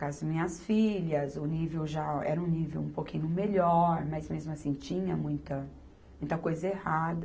Com as minhas filhas, o nível já era um nível um pouquinho melhor, mas, mesmo assim, tinha muita, muita coisa errada.